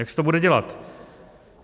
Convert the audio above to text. Jak se to bude dělat?